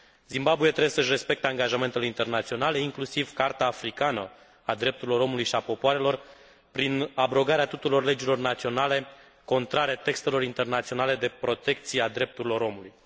Zimbabwe trebuie să își respecte angajamentele internaționale, inclusiv Carta africană a drepturilor omului și popoarelor, prin abrogarea tuturor legilor naționale contrare textelor internaționale de protecție a drepturilor omului.